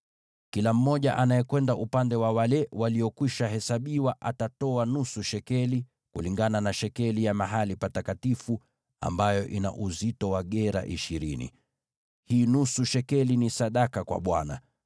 Kila mmoja anayekwenda upande wa wale waliokwisha hesabiwa atatoa nusu shekeli, kulingana na shekeli ya mahali patakatifu, ambayo ina uzito wa gera ishirini. Hii nusu shekeli ni sadaka kwa Bwana .